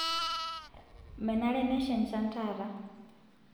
menare nesha enchan taata